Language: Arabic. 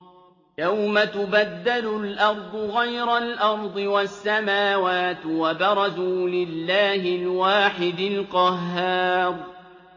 يَوْمَ تُبَدَّلُ الْأَرْضُ غَيْرَ الْأَرْضِ وَالسَّمَاوَاتُ ۖ وَبَرَزُوا لِلَّهِ الْوَاحِدِ الْقَهَّارِ